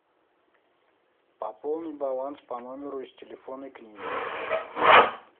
пополни баланс по номеру из телефонной книги